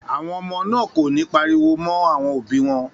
Àwọn ọmọ náà kò ní pariwo mọ́ àwọn òbí wọn.